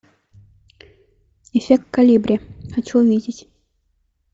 эффект колибри хочу увидеть